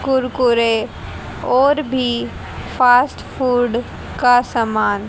कुरकुरे और भी fast food का समान--